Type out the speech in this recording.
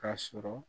K'a sɔrɔ